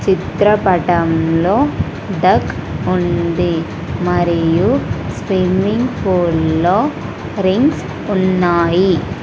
చిత్రపటంలో డక్ ఉంది మరియు స్విమ్మింగ్ పూల్లో రింగ్స్ ఉన్నాయి.